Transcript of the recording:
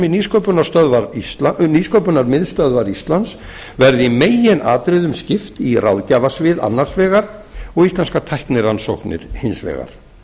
til að starfsemi nýsköpunarmiðstöðvar íslands verði í meginatriðum skipt í ráðgjafarsvið annars vegar og íslenskar tæknirannsóknir hins vegar